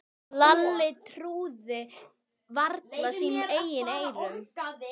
Lalli trúði varla sínum eigin eyrum.